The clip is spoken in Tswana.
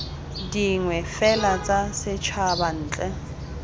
dingwe fela tsa setshaba ntle